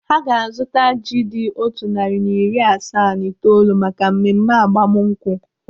Ha ga-azụta ji dị otu narị na iri asaa na itoolu maka mmemme agbamnkwụ.